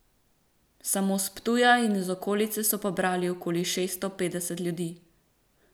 Samo s Ptuja in iz okolice so pobrali okoli šeststo petdeset ljudi.